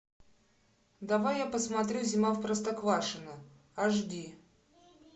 давай я посмотрю зима в простоквашино аш ди